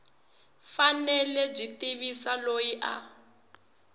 fanele byi tivisa loyi a